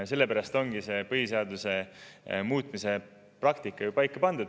Sellepärast ongi põhiseaduse muutmise praktika paika pandud.